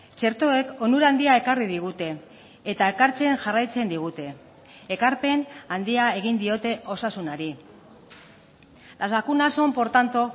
txertoek onura handia ekarri digute eta ekartzen jarraitzen digute ekarpen handia egin diote osasunari las vacunas son por tanto